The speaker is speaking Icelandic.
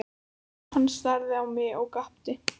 Hann starði á mig og gapti.